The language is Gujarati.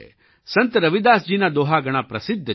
સંત રવિદાસજીના દોહા ઘણા પ્રસિદ્ધ છે